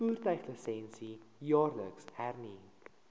voertuiglisensie jaarliks hernu